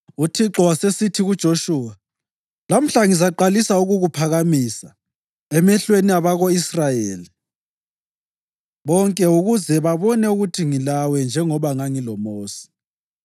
UThixo wasesithi kuJoshuwa, “Lamhla ngizaqalisa ukukuphakamisa emehlweni abako-Israyeli bonke ukuze babone ukuthi ngilawe njengoba ngangiloMosi.